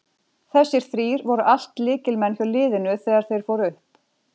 Þessir þrír voru allt lykilmenn hjá liðinu þegar þeir fóru upp.